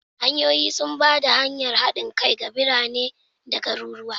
Hanyoyi sun ba da hanyar haɗin kai ga birane da garuruwa.